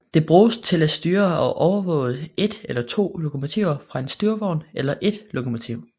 Det bruges til at styre og overvåge et eller to lokomotiver fra en styrevogn eller et lokomotiv